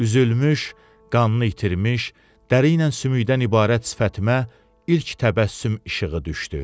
Üzülmüş, qannı itirmiş, dəri ilə sümükdən ibarət sifətimə ilk təbəssüm işığı düşdü.